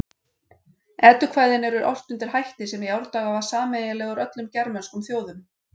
Eddukvæðin eru ort undir hætti sem í árdaga var sameiginlegur öllum germönskum þjóðum.